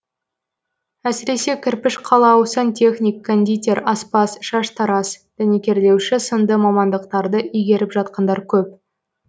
әсіресе кірпіш қалау сантехник кондитер аспаз шаштараз дәнекерлеуші сынды мамандықтарды игеріп жатқандар көп